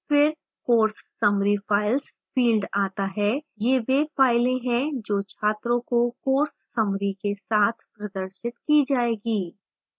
फिर course summary files field आता है